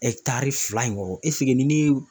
fila ɲɔgɔn ni ne ye